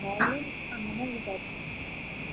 എന്തായാലും അങ്ങനെ അല്ലെ ഇതാക്കു